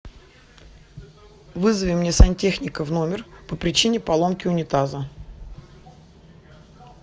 вызови мне сантехника в номер по причине поломки унитаза